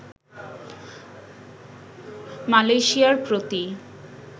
মালয়েশিয়ার প্রতি